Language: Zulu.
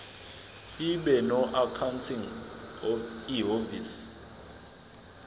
ibe noaccounting ihhovisir